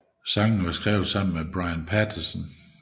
Sangene var skrevet sammen med englænderen Brian Patterson